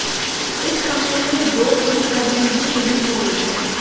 इस हमले में दो पुलिसकर्मी भी शहीद हो गए थे